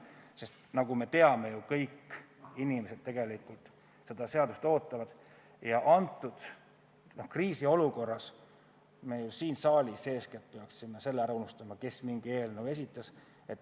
Sest nagu me teame, kõik inimesed tegelikult ju ootavad seda seadust ja praeguses kriisiolukorras peaksime me eeskätt siin saalis selle ära unustama, kes mingi eelnõu esitas.